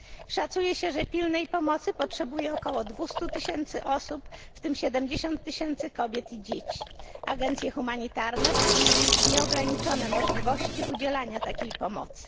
Szacuje się, że pilnej pomocy potrzebuje około 200 tysięcy osób, w tym 70 tysięcy kobiet i dzieci. Agencje humanitarne powinny mieć nieograniczone możliwości udzielania takiej pomocy.